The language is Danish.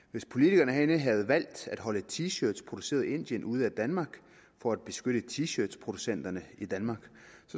hvis politikerne herinde havde valgt at holde t shirts produceret i indien ude af danmark for at beskytte t shirt producenterne i danmark